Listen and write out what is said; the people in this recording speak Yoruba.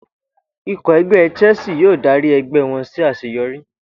Ikọ̀ ẹgbẹ́ Chelsea yóò dárí ẹgbẹ́ wọn sí àṣeyọrí